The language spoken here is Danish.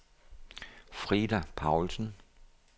Frida Paulsen